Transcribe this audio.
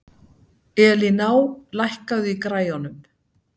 Elíná, lækkaðu í græjunum.